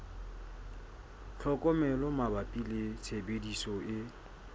tlhokomelo mabapi le tshebediso e